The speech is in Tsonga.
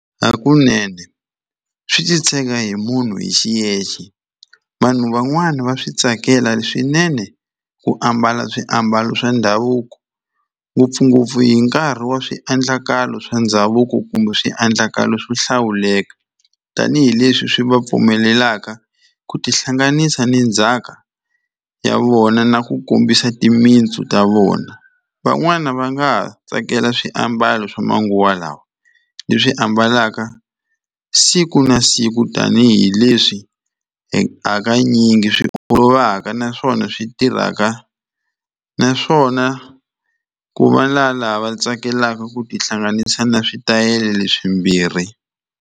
Hakunene swi titshega hi munhu hi xiyexe vanhu van'wani va swi tsakela swinene ku ambala swiambalo swa ndhavuko ngopfungopfu hi nkarhi wa swiendlakalo swa ndhavuko kumbe swiendlakalo swo hlawuleka tanihileswi swi va pfumelelaka ku tihlanganisa ni ndzhaka ya vona na ku kombisa timintsu ta vona van'wani va nga ha tsakela swiambalo swa manguva lawa leswi ambalaka siku na siku tanihileswi hakanyingi swi olovaka naswona swi tirhaka naswona ku va la lava tsakelaka ku tihlanganisa na switayele leswimbirhi.